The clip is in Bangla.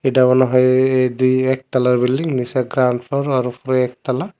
এটা মনে হয় এএ দুই এক তালার বিল্ডিং নিচে গ্রাউন্ড ফ্লোর আর উপরে একতলা।